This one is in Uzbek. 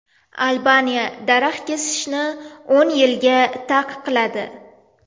Albaniya daraxt kesishni o‘n yilga taqiqladi.